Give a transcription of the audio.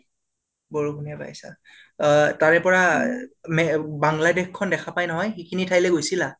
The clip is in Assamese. বৰষুণে পাইছা, অ তাৰে পৰা বাংলাদেশ খন দেখা পাই নহয়, সেইখিনি ঠাইলৈ গৈছিলা?